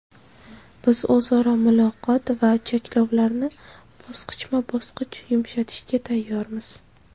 Biz o‘zaro muloqot va cheklovlarni bosqichma-bosqich yumshatishga tayyormiz.